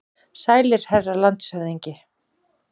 Sælir, herra landshöfðingi.